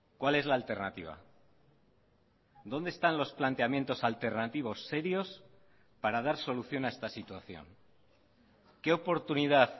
cuál es la alternativa dónde están los planteamientos alternativos serios para dar solución a esta situación qué oportunidad